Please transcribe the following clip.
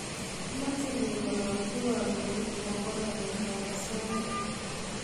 Mache kengalolchi kandoik akobo namet ab asoya